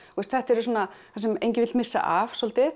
þetta er svona það sem enginn vill missa af svolítið